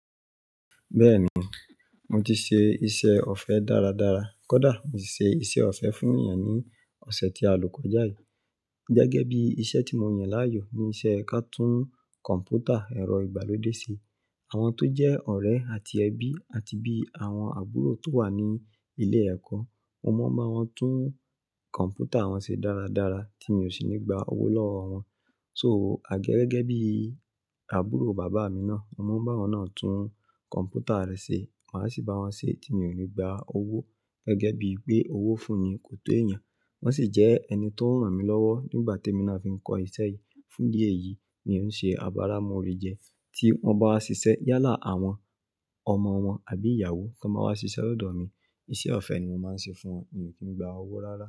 Bẹ́ẹ̀ni, mo ti ṣe iṣẹ́ ọ̀fẹ́ dáradára. Kódà, mo sì ṣe iṣẹ́ ọ̀fẹ́ fún èèyàn ní ọ̀sẹ̀ tí a lò kọjá yìí. Gẹ́gẹ́ bí iṣẹ́ tí mo yàn láàyò ni iṣẹ́ ká tú kọ̀m̀pútà ẹ̀rọ ìgbàlódé ṣe. Àwọn tó jẹ́ ọ̀rẹ́ àti ẹbí àti bí àwọn àbúrò tó wà ní ilé ẹkọ́, mo máa ń bá wọn tún kọ̀m̀pútà wọn ṣe dáradára tí mi ò sì ní gba owó lọ́wọ́ wọn. Só àgẹ gẹ́gẹ́ bí àbúrò bàbá mi náà, mo máa ń bá awọ̀nà tún kọ̀m̀pútà rẹ̀ ṣe, màá sì bá wọn ṣe tí mi ò ní gba owó gẹ́gẹ́ bí pé owó fún ni kò tó èèyàn. Wọ́n sì jẹ́ ẹni tó ran mí lọ́wọ́ nígbà tí emi náà fi ń kọ́ ìṣe yìí. Fún idí eyìí mi òun ṣe abara móre jẹ. Tí wọ́n bá wá ṣiṣẹ́ yálà àwọn ọmọ wọn àbí ìyàwó tan ba wá ṣiṣẹ́ lọ́dọ̀ mi, iṣẹ́ ọ̀fẹ́ ni mo máa ń ṣe fún wọn mí ò kí n gba owó rárá.